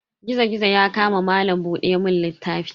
Gizo-gizo ya kama malam buɗe mun littafi.